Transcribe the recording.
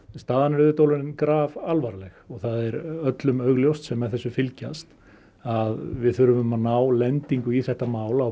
staðan er auðvitað orðin grafalvarleg það er öllum ljóst sem með þessum fylgjast að við þurfum að ná lendingu í þetta mál á